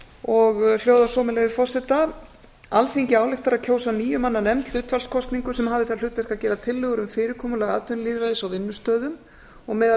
og hljóðar svo með leyfi forseta alþingi ályktar að kjósa níu manna nefnd hlutfallskosningu sem hafi það hlutverk að gera tillögur um fyrirkomulag atvinnulýðræðis á vinnustöðum og meðal